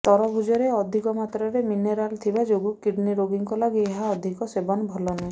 ତରଭୁଜରେ ଅଧିକ ମାତ୍ରାରେ ମିନେରାଲ୍ ଥିବା ଯୋଗୁଁ କିଡ଼୍ନୀ ରୋଗୀଙ୍କ ଲାଗି ଏହାର ଅଧିକ ସେବନ ଭଲ ନୁହଁ